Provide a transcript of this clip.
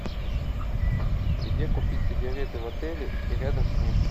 где купить сигареты в отеле и рядом с ним